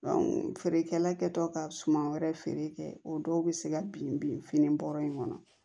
feerekɛla kɛtɔ ka suman wɛrɛ feere kɛ o dɔw bɛ se ka bin bin fini bɔrɔ in kɔnɔ